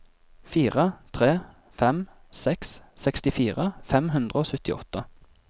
fire tre fem seks sekstifire fem hundre og syttiåtte